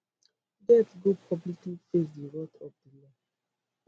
get go publicly face di wrath of di law